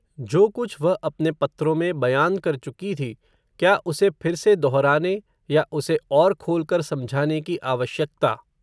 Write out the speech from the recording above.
जो कुछ वह अपने पत्रों में, बयान कर चुकी थी, क्या उसे फिर से दोहराने, या उसे और खोलकर समझाने की आवश्यकता